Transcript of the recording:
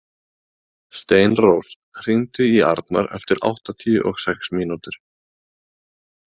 Steinrós, hringdu í Arnar eftir áttatíu og sex mínútur.